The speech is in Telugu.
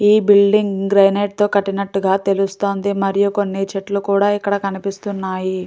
ఈ బిల్డింగ్ గ్రనైట్ తో కట్టిన్నటుగా తెలుస్తుంది మరియు కొన్ని చెట్లు కూడా ఇక్కడ కనిపిస్తున్నాయి.